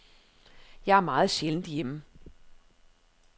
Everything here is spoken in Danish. Jeg er meget sjældent hjemme.